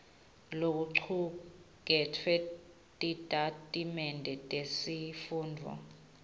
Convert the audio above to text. lokucuketfwe titatimende tesifundvo